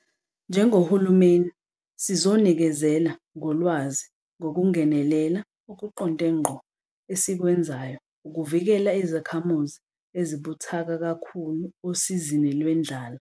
Njengohulumeni sizonikezela ngolwazi ngokungenelela okuqonde ngqo esikwenzayo ukuvikela izakhamuzi ezibuthaka kakhulu osizini lwendlala.